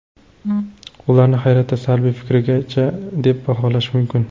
Ularni hayratdan salbiy fikrgacha deb baholash mumkin.